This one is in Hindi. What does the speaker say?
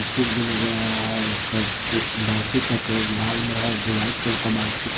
भी नजर आ रहा है उसका कुछ का कलर लाल में है दो वाइट कलर का बालशीट है।